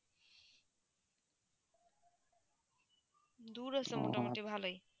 দূর আছে মোটা মতি ভালো ই